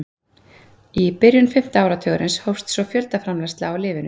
Í byrjun fimmta áratugarins hófst svo fjöldaframleiðsla á lyfinu.